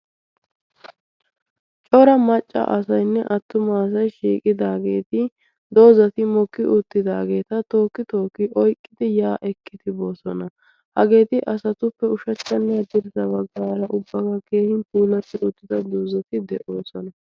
cora macca asayinne attumaasai shiiqidaageeti doozati mokki uttidaageeta tookki tooki oiqqidi ya ekkitiboosona hageeti asatuppe ushaccannaa dirida baggaara ubbagaa keehin puulassi uttida doozati de'oosona.